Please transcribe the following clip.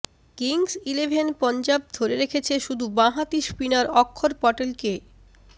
Kings eleven Punjab ধরে রেখেছে শুধু বাঁ হাতি স্পিনার অক্ষর পটেলকে